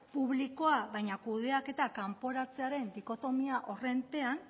publikoa baina kudeaketa kanporatzearen dikotomia horen pean